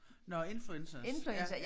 Nåh influencers ja